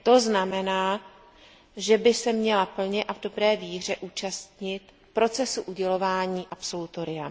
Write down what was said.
To znamená, že by se měla plně a v dobré víře účastnit procesu udělování absolutoria.